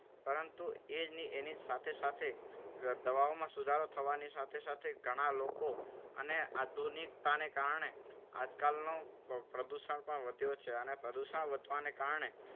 પરંતુ એ જ એની સાથે સાથે દવાઓમાં સુધારો થવાની સાથે સાથે ઘણા લોકો ને આધુનિકતાને કારણે આજકાલનું પ્રદૂષણ પણ વધ્યું છે. અને પ્રદૂષણ વધવાને કારણે